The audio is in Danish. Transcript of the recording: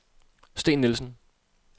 Steen Nielsen